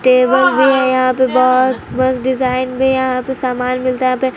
table भी है यहां पे बहोत-बहोत डिजाइन भी यहां पे सामान मिलता है यहाँ पे --